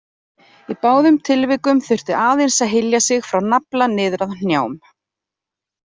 Í báðum tilvikum þurfti aðeins að hylja sig frá nafla niður að hnjám.